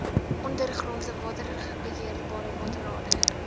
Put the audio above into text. ondergrondse waterbeheerrade waterrade